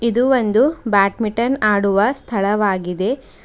ಇದು ಒಂದು ಬ್ಯಾಟ್ಮಿಟನ್ ಆಡುವ ಸ್ಥಳವಾಗಿದೆ.